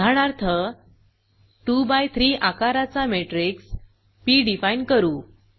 उदाहरणार्थ 2 बाय 3 आकाराचा matrix P define करू